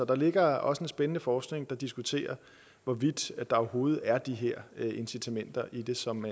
der ligger også en spændende forskning hvor det diskuteres hvorvidt der overhovedet er de her incitamenter i det som